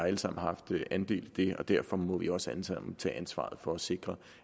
alle sammen haft en andel i den og derfor må vi også alle sammen tage ansvaret for at sikre